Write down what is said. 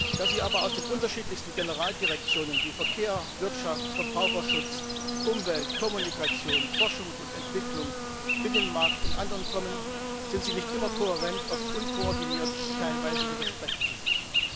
Da sie aber aus den unterschiedlichsten Generaldirektionen wie Verkehr, Wirtschaft, Verbraucherschutz, Umwelt, Kommunikation, Forschung und Entwicklung, Binnenmarkt und anderen kommen, sind sie nicht immer kohärent, oft unkoordiniert, teilweise widersprechen sie sich.